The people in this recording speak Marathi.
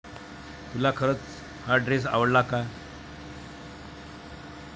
तुला खरच हा ड्रेस आवडला का?